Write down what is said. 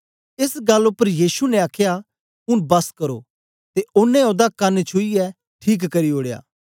एस गल्ल उपर यीशु ने आखया ऊन बस करो ते ओनें ओदा कन छुईयै ठीक करी ओड़या